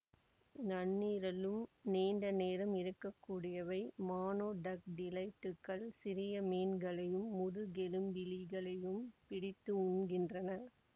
நன்னீரிலும் நீண்ட நேரம் இருக்கக்கூடியவை மானோடக்டிலைட்டுக்கள் சிறிய மீன்களையும் முதுகெலும்பிலிகளையும் பிடித்து உண்கின்றன